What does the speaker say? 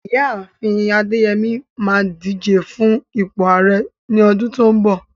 Ìyá àfin Adeyemi máa díje fún ipò Ààrẹ ní ọdún tó ń bọ̀.